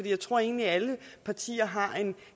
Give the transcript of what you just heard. jeg tror egentlig at alle partier har en